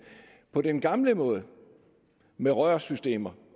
på den gamle måde med rørsystemer